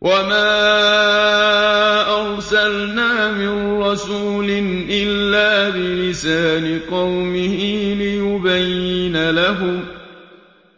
وَمَا أَرْسَلْنَا مِن رَّسُولٍ إِلَّا بِلِسَانِ قَوْمِهِ لِيُبَيِّنَ لَهُمْ ۖ